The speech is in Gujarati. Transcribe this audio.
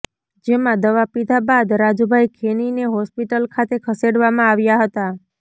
જેમાં દવા પીધા બાદ રાજુભાઇ ખેનીને હોસ્પિટલ ખાતે ખસેડવામાં આવ્યા હતા